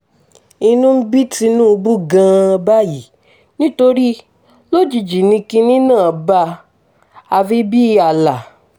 inú ń bí tinubu gan-an báyìí nítorí lójijì ni kinní náà bá a àfi bíi àlà